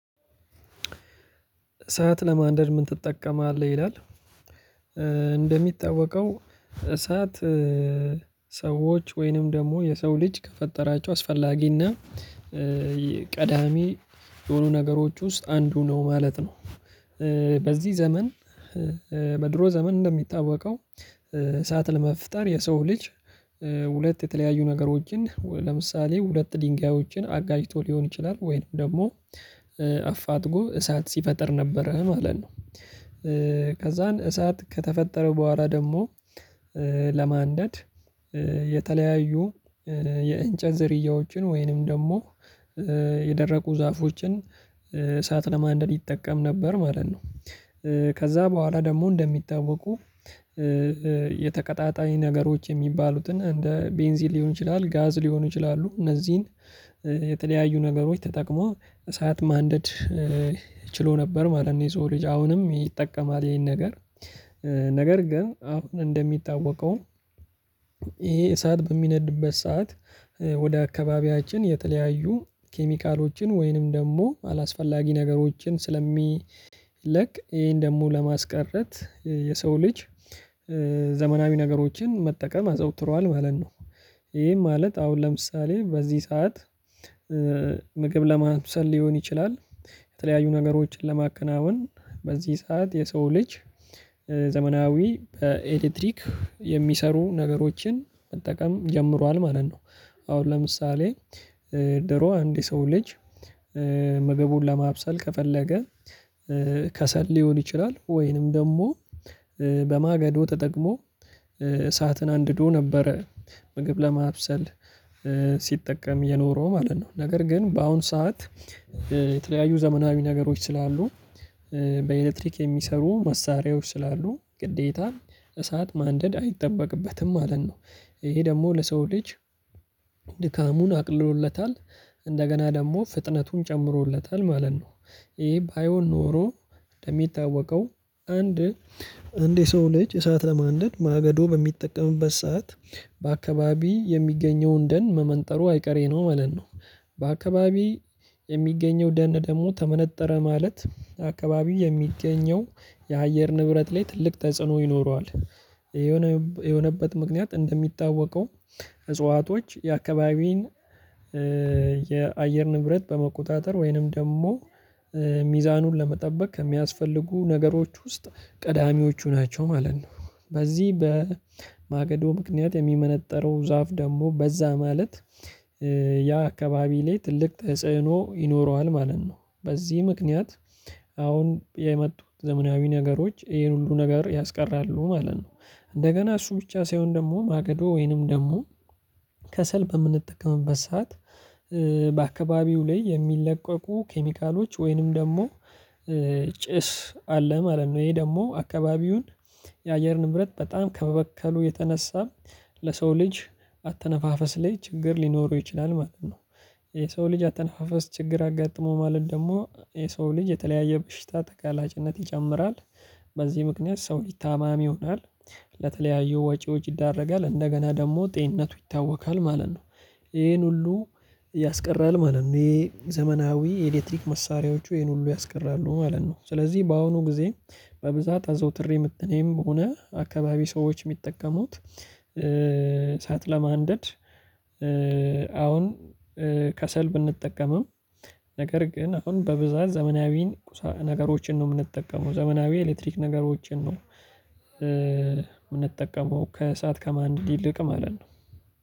እሳት ለማንደር ምን ትጠቀማለህይ? ላል እንደሚታወቀው እሳት ሰዎች ወይንም ደግሞ የሰው ልጅ ከፈጠራቸው አስፈላጊና ቀዳሚ የሆኑ ነገሮች ውስጥ አንዱ ነው ማለት ነው በዚህ ዘመን በድሮ ዘመን እንደሚታወቀው ሰዓት ለመፍጠር የሰው ልጅ ሁለት የተለያዩ ነገሮችን ለምሳሌ ሁለት ድንጋዮችን አጋጭቶ ልሆን ይችላል ወይንም ደግሞ አፋጥጎ እሳት ሲፈጥር ነበረ ማለት ነው ከዛን። እሳት ከተፈጠረው በኋላ ደግሞ ለማንደድ የተለያዩ የእንጨት ዝርያዎችን ወይንም ደግሞ የደረቁ ዛፎችን እሳት ለማንደድ ይጠቀም ነበር ማለት ነው ከዛ በኋላ ደግሞ እንደምታወቀው የተቀጣጣኝ ነገሮች የሚባሉትን እንደ ቤንዚን ልሆን ይችላል ጋዝ ልሆን ይችላሉ እነዚህን የተለያዩ ነገሮች ተጠቅሞ እሳት ማንደድ ችሎ ነበረማለት ነው የጽሁፍ ልጅ አሁንም ይጠቀማል ይሄን ነገር ነገር ግን አሁን እንደሚታወቀው ይሄ እሳት በሚነድበት ሰዓት ወደ አካባቢያችን የተለያዩ ኬሚካሎችን ወይንም ደግሞ አላስፈላጊ ነገሮችን ስለሚለቅ ይሄን ደግሞ ለማስቀረት የሰው ልጅ ዘመናዊ ነገሮችን መጠቀም አዘውትሯል ማለት ነው ይሄ ማለት አሁን ለምሳሌ በዚህ ሰዓት ምግብ ለማብሰል ልሆን ይችላል የተለያዩ ነገሮችን ለማከናወን በዚህ ሰዓት የሰው ልጅ ዘመናዊ በኤሌክትሪክ የሚሰሩ ነገሮችን መጠቀም ጀምሯል ማለት ነው አሁን ለምሳሌ ድሮ አንድ የሰው ልጅ ምግቡን ለማብሰል ከፈለገ ከሰል ሊሆን ይችላል ወይንም ደግሞ በማገዶ ተጠቅሞ እሳትን አንድዶ ነበረ። ምግብ ለማብሰል ስጠቀም የኖረው ማለት ነው ነገር ግን በአሁን ሰዓት የተለያዩ ዘመናዊ ነገሮች ስላሉ በኤሌክትሪክ የሚሰሩ መሳሪያዎች ስላሉ ግዴታን እሳት ማንደድ አይጠበቅበትም ማለት ነው። ይሄ ደግሞ ለሰው ልጅ ድካሙን አቅልሎለታል እንደገና ደግሞ ፍጥነቱን ጨምሮለታል ማለት ነው። ይሄ ባይሆን ኖሮ እንደሚታወቀው አንድ የሰው ልጅ እሳት ለማንደድ ማገዶ በሚጠቀምበት ሰዓት በአካባቢ የሚገኘውን ደን መመንጠሩ አይቀሬ ነው ማለት ነው በአካባቢ የሚገኘው ደን ደግሞ ተመነጠረ ማለት አካባቢው የሚገኘው የአየር ንብረት ላይ ትልቅ ተጽዕኖ ይኖረዋል። የሆነ የሆነበት ምክንያት እንደሚታወቀው እጽዋቶች የአካባብን የአየር ንብረት በመቆጣጠር ወይንም ደግሞ ሚዛኑን ለመጠበቅ ከሚያስፈልጉ ነገሮች ውስጥ ቀዳሚዎቹ ናቸው። ማለት ነው በዚህ በማገዶ ምክንያት የሚመነጠረው ዛፍ ደግሞ በዛ ማለት ያ አካባቢ ላይ ትልቅ ተጽዕኖ ይኖረዋል ማለት ነው በዚህ ምክንያት አሁን የመጡት ዘመናዊ ነገሮች ይሄን ሁሉ ነገር ያስቀራሉ ማለት ነው። እንደገና እሱ ብቻ ሳይሆን ደግሞ ማገዶ ወይንም ደግሞ ከሰል በምንጠቀምበት ሰዓት በአከባብው ላይ የሚለቀቁ ኬሚካሎች ወይንም ደግሞ ጭስ አለ ማለት ነው። ይሄ ደግሞ አካባቢውን የአየር ንብረት በጣም ከበበከሉ የተነሳ ለሰው ልጅ አተነፋፈስ ላይ ችግር ሊኖሩ ይችላል ማለት ነው የሰው ልጅ አተነፋፈስ ችግር አጋጥሞ ማለት ደግሞ የሰው ልጅ የተለያየ በሽታ ተጋላጭነት ይጨምራል በዚህ ምክንያት ሰው ታማም ይሆናል ለተለያዩ ወጪ ወጭዎች ይዳረጋል እንደገና ደግሞ ጤንነቱ ይታወካል ማለት ነው። ይሄን ሁሉ ያስቀራል ማለት ነው። ይሄ ዘመናዊ ኤሌክትሪክ መሳሪያዎቹ ይሄን ሁሉ ያስቀራሉ ማለት ነው። ስለዚህ በአሁኑ ጊዜ በብዛት አዘውትሬ ምጠቀም ከሆነ አካባቢ ሰዎች የሚጠቀሙት እሳት ለማንደድ አሁን ከሰል ብንጠቀምም ነገር ግን አሁን በብዛት ዘመናዊ ነገሮችን ነው የምንጠቀመው። ዘመናዊ ኤሌክትሪክ ነገሮችን ነው የምንጠቀመው ከእሳት ከማንደድ ይልቅ ማለት ነው